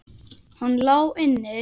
Hann lá inni!